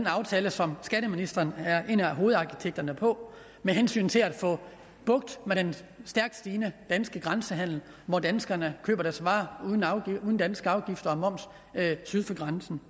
aftale som skatteministeren er en af hovedarkitekterne på med hensyn til at få bugt med den stærkt stigende danske grænsehandel hvor danskerne køber deres varer uden danske afgifter og moms syd for grænsen